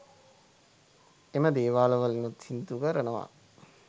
එම දේවාල වලිනුත් සිදු කරනවා.